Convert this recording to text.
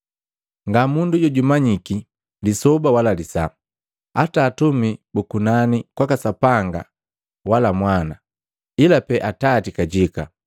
“Ngamundu jojumanyiki lisoba wala lisaa, hata atumi bu kunani kwaka Sapanga wala Mwana, ila pee Atati kajika.